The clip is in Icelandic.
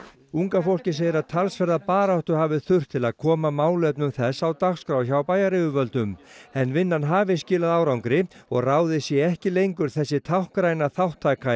unga fólkið segir að talsverða baráttu hafi þurft til að koma málefnum þess á dagskrá hjá bæjaryfirvöldum en vinnan hafi skilað árangri og ráðið sé ekki lengur þessi táknræna þátttaka í